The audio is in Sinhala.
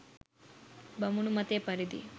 බමුණු මතය පරිදි